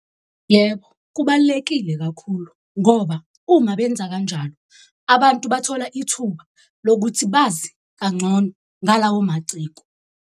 Yebo, kubalulekile kakhulu ngoba uma benza kanjalo abantu bathola ithuba lokuthi bazi kangcono ngalawo maciko.